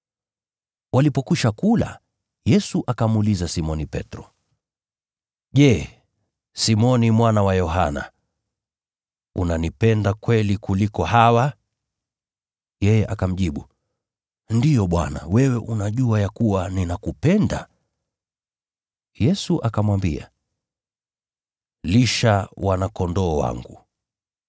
Walipokwisha kula, Yesu akamuuliza Simoni Petro, “Je, Simoni mwana wa Yohana, unanipenda kweli kuliko hawa?” Yeye akamjibu, “Ndiyo Bwana, wewe unajua ya kuwa ninakupenda.” Yesu akamwambia, “Lisha wana-kondoo wangu.”